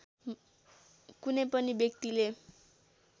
कुनै पनि व्यक्तिले